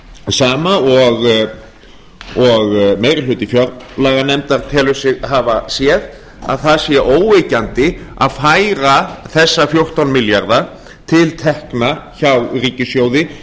sama og meiri hluti fjárlaganefndar telur sig hafa séð að það sé óyggjandi að færa þessa fjórtán milljarða til tekna hjá ríkissjóði